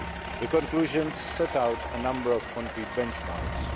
The conclusions set out a number of concrete benchmarks.